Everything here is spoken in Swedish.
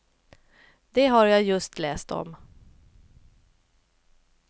Det har jag just läst om.